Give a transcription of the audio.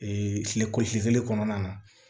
kile kɔnɔna na